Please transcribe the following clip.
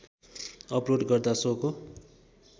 upload गर्दा सोको